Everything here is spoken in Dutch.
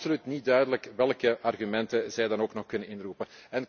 Het is dus absoluut niet duidelijk welke argumenten zij dan nog kunnen inroepen.